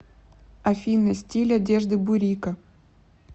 афина стиль одежды бурико